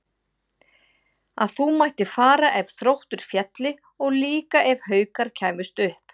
Að þú mættir fara ef Þróttur félli og líka ef Haukar kæmust upp?